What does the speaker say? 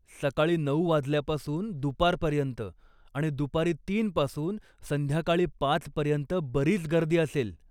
सकाळी नऊ वाजल्यापासून दुपारपर्यंत आणि दुपारी तीन पासून संध्याकाळी पाच पर्यंत बरीच गर्दी असेल.